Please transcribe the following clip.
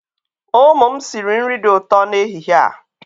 Ụmụ m sịrị nri dị ụtọ n'ehihie a.